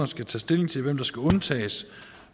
skal tage stilling hvem der skal undtages